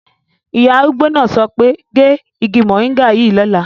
Ìyá arúgbó náà sọ pé "gé igi mòríngà yìí lọ́la"